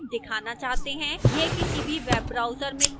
यह किसी भी web browser में खुल सकता है